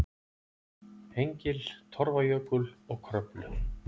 Hengil, Torfajökul og Kröflu.